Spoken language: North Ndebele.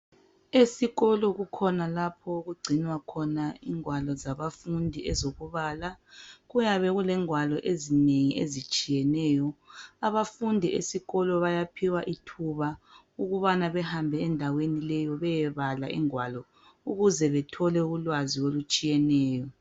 Esikolo kukhona lapho okugcinwa khona ingwalo zabafundi ezokubala, kuyabe kulengwalo ezinengi ezitshiyeneyo, abafundi esikolo bayaphiwa ithuba ukubana behambe endaweni leyo beyebala ingwalo ukuze bethole ulwazi olutshiyeneyo.